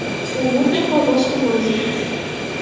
U mutlaqo boshqa mavzu.